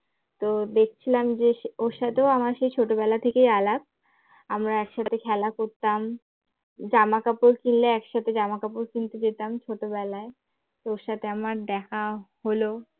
তো দেখছিলাম যে ওর সাথে ও আমার সেই ছোটবেলা থেকে আলাপ, আমরা একসাথে খেলা করতাম জামা কাপড় কিনলে একসাথে জামা কাপড় কিনতে যেতাম ছোটবেলায় ওর সাথে আমার দেখা হল